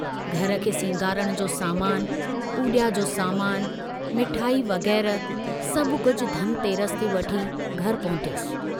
घर खे सींगारण जो सामानु, पूजा जो सामानु, मिठाई वग़ैरह सभु कुझ धन तेरस ते वठी घर पहुतुस।